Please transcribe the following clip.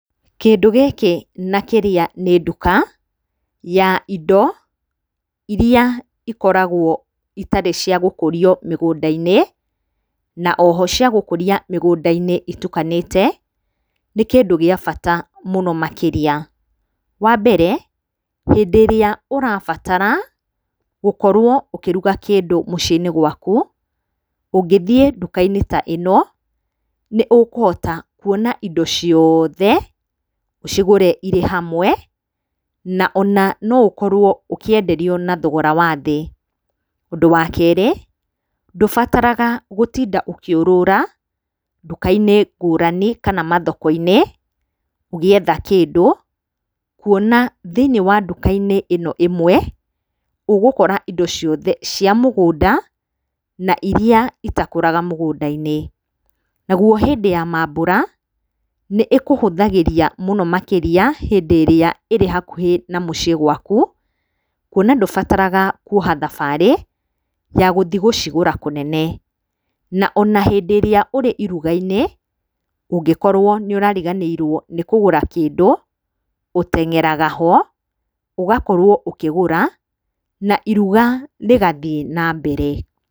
Kĩndũ gĩkĩ na kĩrĩa nĩ nduka ya indo iria ikoragwo itarĩ cia gũkũrio mĩgũnda-inĩ na o ho cia gũkũria mĩgũnda-inĩ itukanĩte, nĩ kĩndu gĩa bata muno makĩria. Wa mbere, hĩndĩ ĩrĩa ũrabatara gũkorwo ukĩruga kĩndũ mũcii-inĩ gwaku, ũngithiĩ nduka-inĩ ta ĩno, nĩ ũkũhota kuona indo ciothe, ũcigũre irĩ hamwe, na ona no ũkorwo ũkĩenderio na thogora wa thĩ. Ũndũ wa keerĩ ndũbataraga gũtinda ũkĩũrũra nduka-inĩ ngũrani kana mathoko-inĩ ũgietha kĩndũ, kuona thĩinĩ wa nduka-inĩ ĩno ĩmwe, ũgũkora indo ciothe, cia mũgũnda na iria itakũraga mũgũnda-inĩ. Naguo hĩndĩ ya maambũra, nĩ ĩkũhũthagĩria mũno makĩria hĩndĩ ĩrĩa irĩ hakuhĩ na mũciĩ gwaku, kuona ndũbataraga kuoha thabarĩ ya githiĩ gũcigũra kũnene. Na ona hĩndĩ ĩrĩa ũrĩ ĩruga-inĩ, ũngĩkoruo nĩ ũrariganĩrwo nĩ kũgũra kĩndũ, ũteng'eraga ho, ũgakorwo ũkĩgũra na iruga rĩgathiĩ na mbere.